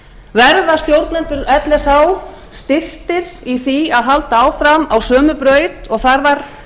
verða stjórnendur lsh styrktir í því að halda áfram á sömu braut og þar